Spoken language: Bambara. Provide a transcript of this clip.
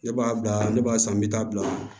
Ne b'a bila ne b'a san n bɛ taa bila